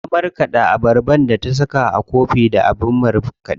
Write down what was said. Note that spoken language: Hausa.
Ta marƙaɗa abarbar da ta saka a zobo da abin markaɗe.